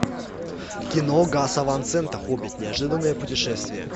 кино гаса ван сента хоббит неожиданное путешествие